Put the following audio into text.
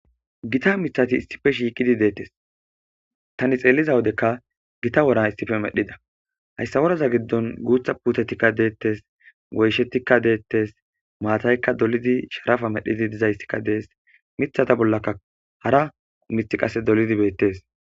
Gita mithati issife shiiqidi deettes tani xeelliza wodekka gita woran issife medhida hayssa woraza giddon guutha putetikka deettes goyshettikka deettes maataykka dolidi sharafa medhidi dizayssikka dees mithata bollaka hara mith qase dolidi beettes.